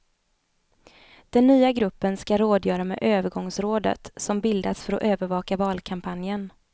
Den nya gruppen skall rådgöra med övergångsrådet, som bildats för att övervaka valkampanjen.